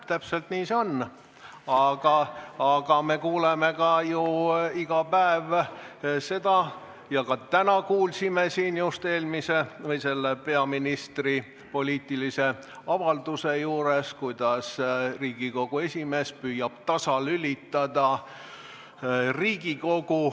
Täpselt nii see on, aga me kuuleme ju iga päev seda ja ka täna kuulsime siin peaministri poliitilise avalduse juures, kuidas Riigikogu esimees püüab Riigikogu tasalülitada.